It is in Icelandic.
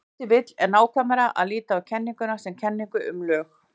Ef til vill er nákvæmara að líta á kenninguna sem kenningu um lög.